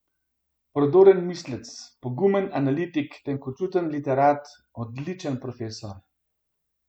Prodoren mislec, pogumen analitik, tenkočuten literat, odličen profesor ...